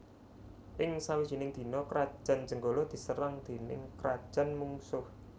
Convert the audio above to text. Ing sawijining dina Krajan Jenggala diserang déning krajan mungsuh